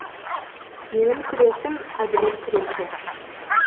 менің күресім әділет күресі